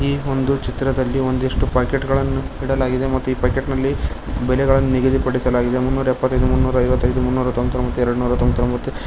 ಈ ಒಂದು ಚಿತ್ರದಲ್ಲಿ ಒಂದಿಷ್ಟು ಪ್ಯಾಕೆಟ್ ಗಳನ್ನು ಇಡಲಾಗಿದೆ ಮತ್ತು ಈ ಪಾಕೆಟ್ ನಲ್ಲಿ ಬೆಲೆಗಳನ್ನು ನಿಗದಿ ಪಡಿಸಲಾಗಿದೆ ಮುನೂರ್ ಯಪ್ಪತ್ಯದು ಮುಂನೂರ ಐವತ್ಯದು ಮುನೂರ್ ತೋಮ್ಬಾತೋಮ್ಬತ್ತು ಎರಡ್ ನೂರ ತೋಮ್ಬಾತ್ತೋಬಾತ್ತು --